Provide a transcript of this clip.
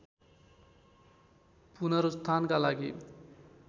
पुनरुत्थानका लागि